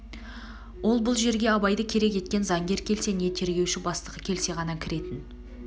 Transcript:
ол бұл жерге абайды керек еткен заңгер келсе не тергеуші бастығы келсе ғана кіретін